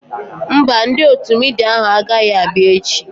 Mba, ndị otu midia ahu agaghị abịa echi